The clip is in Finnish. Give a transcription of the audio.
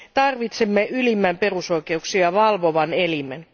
Tarvitsemme ylimmän perusoikeuksia valvovan elimen.